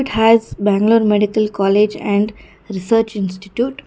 It has bangalore medical college and research institute.